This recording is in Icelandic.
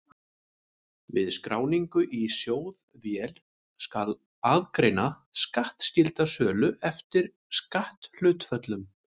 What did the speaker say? Við skráningu í sjóðvél skal aðgreina skattskylda sölu eftir skatthlutföllum.